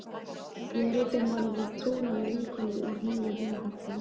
Ég ræddi málið við trúnaðarvinkonu úr nýja vinahópnum.